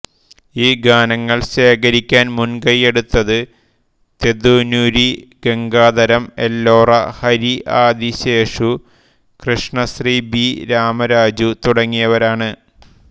ഈ ഗാനങ്ങൾ ശേഖരിക്കാൻ മുൻകയ്യെടുത്തത് തെദുനുരി ഗംഗാധരം എല്ലോറ ഹരിആദിശേഷു കൃഷ്ണശ്രീ ബി രാമരാജു തുടങ്ങിയവരാണ്